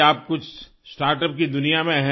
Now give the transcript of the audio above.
आप कुछ स्टार्टअप की दुनिया में हैं